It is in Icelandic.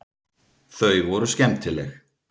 Þau voru skemmtileg.